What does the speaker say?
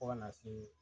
Fo ka na se